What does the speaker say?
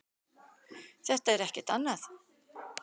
Þetta er ekkert annað.